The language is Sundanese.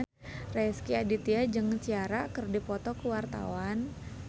Rezky Aditya jeung Ciara keur dipoto ku wartawan